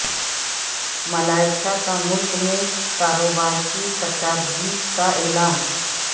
ملائیشیاء کا ملک میں کاروبار کی کشادگی کا اعلان